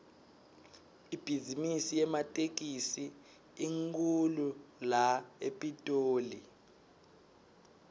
ibhizimisi yematekisi inkhulu la epitoli